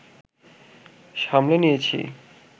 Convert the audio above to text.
সামলে নিয়েছি